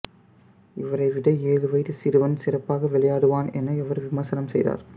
இவரை விட ஏழு வயது சிறுவன் சிறப்பாக விளையாடுவான் என அவர் விமர்சனம் செய்தார்